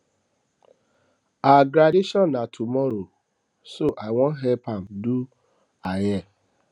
her graduation na tomorrow so i wan help am do her hair